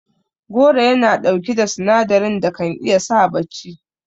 Goro Yana ɗauki da sinadarin da kan iya sa bacci